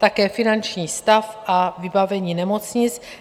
Také finanční stav a vybavení nemocnic.